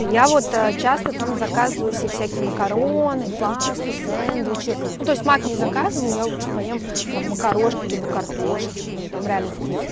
я вот часто там заказываю себе всякие макароны пасту сэндвичи ну то есть маг не заказываю я лучше поем потом макарошки либо картошечку ну там реально вкусно